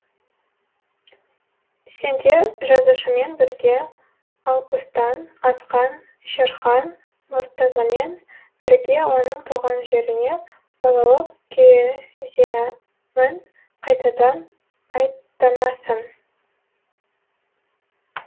сен де жазушымен бірге алпыстан асқан шерхан мұртазамен бірге оның туған жеріне балалық кезеңін қайтадан аттанасың